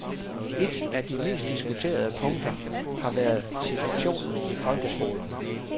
Et af de mest diskuterede punkter har været situationen i folkeskolerne.